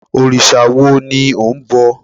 Òrìṣà wo ni ò ń bọ?